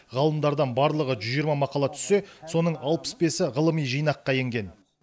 ғалымдардан барлығы жүз жиырма мақала түссе соның алпыс бесі ғылыми жинаққа енген